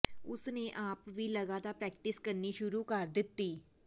ਉਸ ਨੇ ਆਪ ਵੀ ਲਗਾਤਾਰ ਪ੍ਰੈਕਟਿਸ ਕਰਨੀ ਸ਼ੁਰੂ ਕਰ ਦਿੱਤੀ